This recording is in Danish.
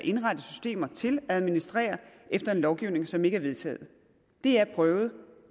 indrette systemer til at administrere efter en lovgivning som ikke er vedtaget det er prøvet og